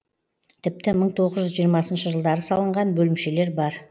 тіпті мың тоғыз жүз жиырмасыншы жылдары салынған бөлімшелер бар